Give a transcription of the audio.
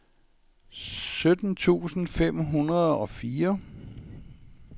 sytten tusind fem hundrede og fire